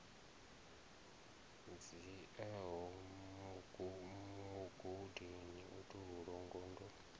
dziaho mugudi u tou longondo